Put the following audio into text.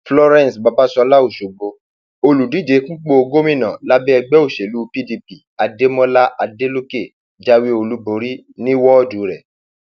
florence babàsọlá ọṣọgbó olùdíje fúnpọ gómìnà lábẹ ẹgbẹ òsèlú pdp adémọlá adeleke jáwé olúborí ní wọọdù rẹ